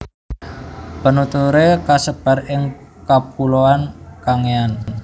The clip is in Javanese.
Penuturé kasebar ing kapuloan Kangean